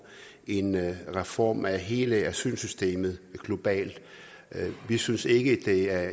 en reform af hele asylsystemet globalt vi synes ikke det er